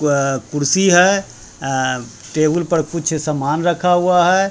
अ कुर्सी है अ टेबल पर कुछ सामान रखा हुआ है।